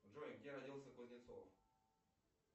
джой где родился кузнецов